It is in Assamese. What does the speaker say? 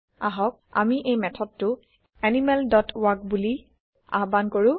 আহক আমি এই মেথডটো এনিমেল ডট ৱাল্ক বোলি আহ্বান কৰো